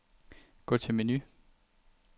Gå til menu.